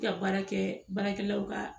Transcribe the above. Ti ka baara kɛ baara kɛlaw ka